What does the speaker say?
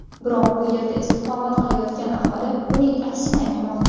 Biroq bu yerda istiqomat qilayotgan aholi buning aksini aytmoqda.